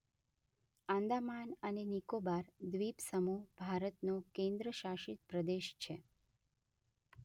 આંદામાન અને નિકોબાર દ્વિપસમૂહ ભારતનો કેન્દ્રશાસિત પ્રદેશ.